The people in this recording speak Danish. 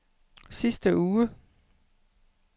sidste uge